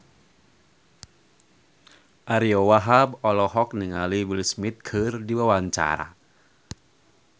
Ariyo Wahab olohok ningali Will Smith keur diwawancara